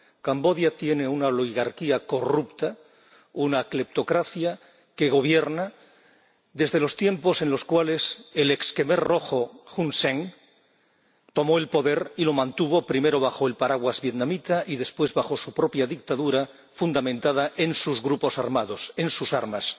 Camboya tiene una oligarquía corrupta, una cleptocracia que gobierna desde los tiempos en los cuales el ex jemer rojo Hun Sen tomó el poder y lo mantuvo, primero bajo el paraguas vietnamita y después bajo su propia dictadura fundamentada en sus grupos armados, en sus armas.